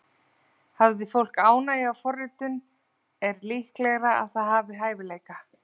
Hafi fólk ánægju af forritun er líklegra að það hafi hæfileika.